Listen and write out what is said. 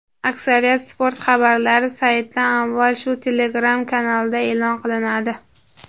Aksariyat sport xabarlari saytdan avval shu Telegram-kanalda e’lon qilinadi.